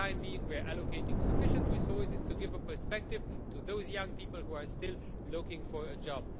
For the time being, we are allocating sufficient resources to give some prospect to those young people who are still looking for a job.